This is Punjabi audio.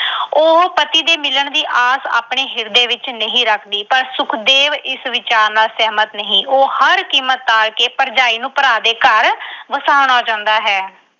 ਉਹ ਪਤੀ ਦੇ ਮਿਲਣ ਦੀ ਆਸ ਆਪਣੇ ਹਿਰਦੇ ਵਿੱਚ ਨਹੀਂ ਰੱਖਦੀ। ਪਰ ਸੁਖਦੇਵ ਇਸ ਵਿਚਾਰ ਨਾਲ ਸਹਿਮਤ ਨਹੀਂ। ਉਹ ਹਰ ਕੀਮਤ ਤੇ ਭਰਜਾਈ ਨੂੰ ਭਰਾ ਦੇ ਘਰ ਵਸਾਉਣਾ ਚਾਹੁੰਦਾ ਹੈ।